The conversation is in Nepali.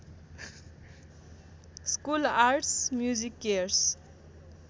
school arts MusiCares